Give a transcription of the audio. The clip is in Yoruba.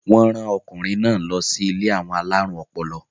wọ́n rán ọkùnrin náà lọ sí ilé àwọn alárùn ọpọlọ